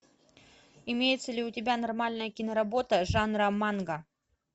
имеется ли у тебя нормальная киноработа жанра манга